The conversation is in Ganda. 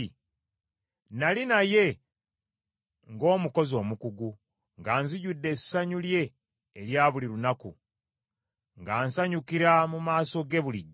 Nnali naye ng’omukozi omukugu, nga nzijudde essanyu lye erya buli lunaku, nga nsanyukira mu maaso ge bulijjo,